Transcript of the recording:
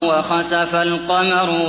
وَخَسَفَ الْقَمَرُ